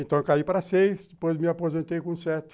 Então, eu caí para seis, depois me aposentei com sete.